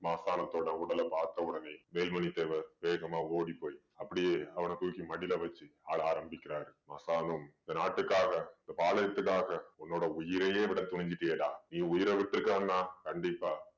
மாசாணத்தோட உடலை பார்த்தவுடனே வேல்மணி தேவர் வேகமா ஓடிப்போய் அப்படியே அவன தூக்கி மடியில வச்சு அழ ஆரம்பிக்கிறாரு மாசாலும் இந்த நாட்டுக்காக இந்த பாளையத்துக்காக உன்னோட உயிரையே விட துணிஞ்சிட்டியேடா நீ உயிரை விட்டு இருக்கான்னா கண்டிப்பா